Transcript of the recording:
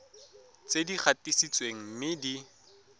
tse di gatisitsweng mme di